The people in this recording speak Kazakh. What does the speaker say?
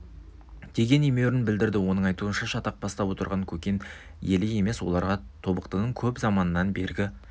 деген емеурін білдірді оның айтуынша шатақ бастап отырған көкен елі емес оларға тобықтының көп заманнан бергі